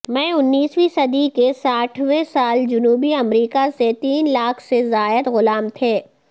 میں انیسویں صدی کے ساٹھویں سال جنوبی امریکہ سے تین لاکھ سے زائد غلام تھے